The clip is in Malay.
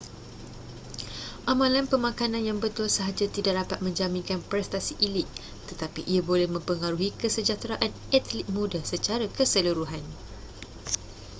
amalan pemakanan yang betul sahaja tidak dapat menjaminkan prestasi elit tetapi ia boleh mempengaruhi kesejahteraan atlet muda secara keseluruhan